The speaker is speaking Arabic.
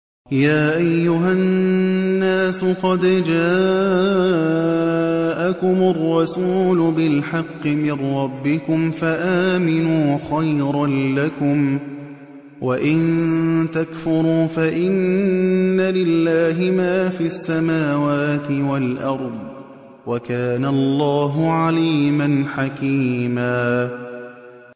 يَا أَيُّهَا النَّاسُ قَدْ جَاءَكُمُ الرَّسُولُ بِالْحَقِّ مِن رَّبِّكُمْ فَآمِنُوا خَيْرًا لَّكُمْ ۚ وَإِن تَكْفُرُوا فَإِنَّ لِلَّهِ مَا فِي السَّمَاوَاتِ وَالْأَرْضِ ۚ وَكَانَ اللَّهُ عَلِيمًا حَكِيمًا